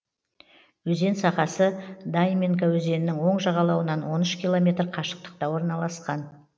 өзен сағасы дайминка өзенінің оң жағалауынан он үш километр қашықтықта орналасқан